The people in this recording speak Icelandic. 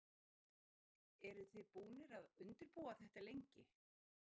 Lillý: Eru þið búnir að undirbúa þetta lengi?